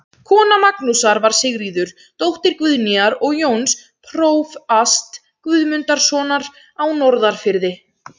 Kona Magnúsar var Sigríður, dóttir Guðnýjar og Jóns prófasts Guðmundssonar á Norðfirði.